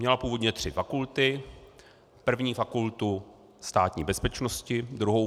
Měla původně tři fakulty, první - Fakultu Státní bezpečnosti, druhou -